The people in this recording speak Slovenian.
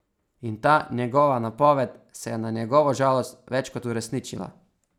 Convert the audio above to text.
In ta njegova napoved se je na njegovo žalost več kot uresničila.